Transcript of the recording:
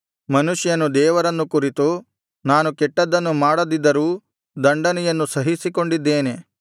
ಮನುಷ್ಯನು ದೇವರನ್ನು ಕುರಿತು ನಾನು ಕೆಟ್ಟದ್ದನ್ನು ಮಾಡದಿದ್ದರೂ ದಂಡನೆಯನ್ನು ಸಹಿಸಿಕೊಂಡಿದ್ದೇನೆ